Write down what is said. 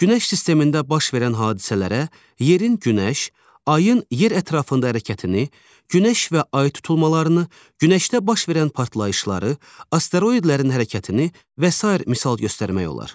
Günəş sistemində baş verən hadisələrə yerin günəş, ayın yer ətrafında hərəkətini, günəş və ay tutulmalarını, günəşdə baş verən partlayışları, asteroidlərin hərəkətini və sair misal göstərmək olar.